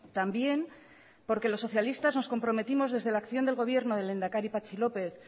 también porque los socialistas nos comprometimos desde la acción del gobierno del lehendakari patxi lópez